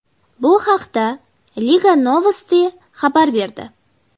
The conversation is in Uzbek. Bu haqda Liga Novosti xabar berdi .